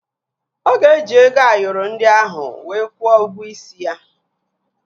Ọ ga-eji ego Ayoro ndị ahụ wee kwuo ụgwọ isi ya